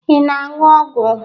Ị na-aṅụ ọgwụ?